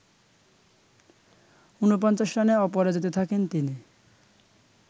৪৯ রানে অপরাজিত থাকেন তিনি